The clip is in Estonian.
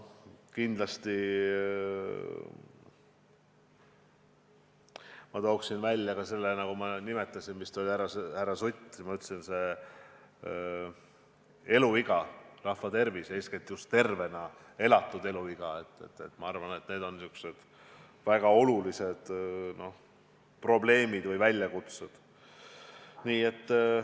Kindlasti toon veel välja ka selle, mida ma nimetasin vist härra Sutile: pikem eluiga, rahva tervis, eeskätt just tervena elatud aastad on samuti väga olulised probleemid või väljakutsed.